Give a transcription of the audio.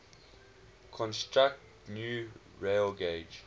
construct new railgauge